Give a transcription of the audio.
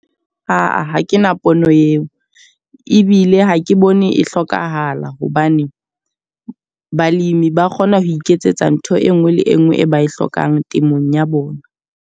Aa, ha ke na pono eo. Ebile ha ke bone e hlokahala hobane balimi ba kgona ho iketsetsa ntho e nngwe le e nngwe e ba e hlokang temong ya bona.